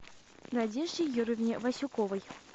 надежде юрьевне васюковой